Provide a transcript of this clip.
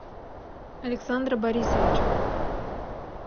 александра борисовича